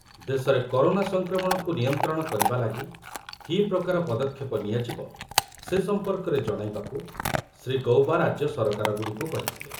ଦେଶରେ କରୋନା ସଂକ୍ରମଣକୁ ନିୟନ୍ତ୍ରଣ କରିବା ଲାଗି କି ପ୍ରକାର ପଦକ୍ଷେପ ନିଆଯିବ ସେ ସମ୍ପର୍କରେ ଜଣାଇବାକୁ ଶ୍ରୀ ଗୌବା ରାଜ୍ୟ ସରକାରଗୁଡ଼ିକୁ କହିଥିଲେ ।